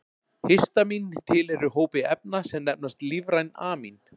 histamín tilheyrir hópi efna sem nefnast lífræn amín